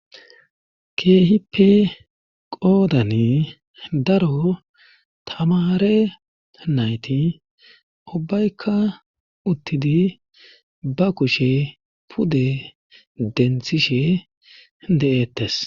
Keehippe qoodani daro tamare nayti ubbaykka uttidi ba kushe pude denthishe de'ettes